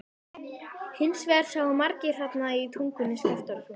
Hins vegar sáu margir þarna í Tungunni, Skaftártungu.